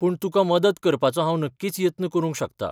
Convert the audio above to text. पूण तुका मदत करपाचो हांव नक्कीच यत्न करूंक शकता.